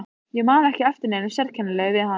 Ég man ekki eftir neinu sérkennilegu við hann.